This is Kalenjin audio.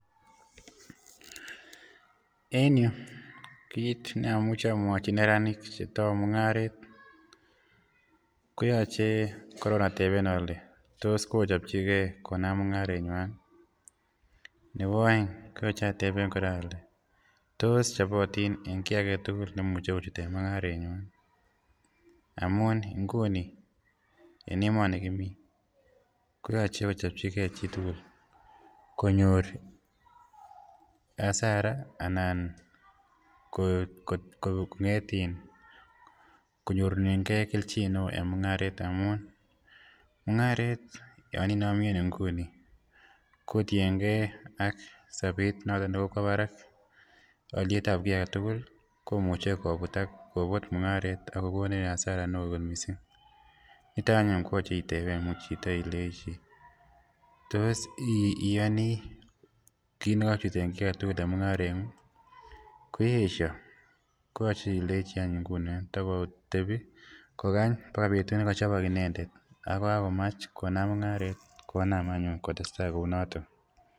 en yuun, kiit neomuche omwochi neranik chetou mungareet. koyoche koroon atebeen ole tos kochopchigee konaam mungareet nywaan iih, nebo ooeng koyoche ateben ole tos chobotin en kiagetugul nemuche kochut en mungaretnywaan iih amuun inguni en emoni kimii koyoche kochopchigee chitugul, konyoor hasara anan kongeet iih konyorchinegee kelchin neoo en mungareet amuun, mungareet yoon inomi en inguni ko kotinyengee ak sobeet negokwo baraak olyeet ab ki agetugul komuche kobuut mungareet ak kogonin hasara neoo kot mising, niton anyuun koyoche itebeen muuch chito ilenchi tos iyoni kiit negochut en kii agetugul en mungarenguung iih, ko yeesyo koyoche ilenchi anyun ingunon tagotobi kogany bagai betut negochobok inendet konaam anyuun kotestai kouu noton.